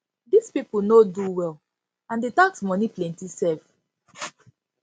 dis people no do well and the tax money plenty sef